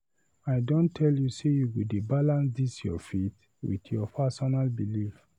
I don tell you sey you go dey balance dis your faith and your personal belif.